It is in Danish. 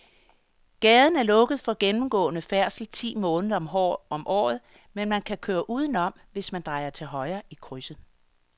Gaden er lukket for gennemgående færdsel ti måneder om året, men man kan køre udenom, hvis man drejer til højre i krydset.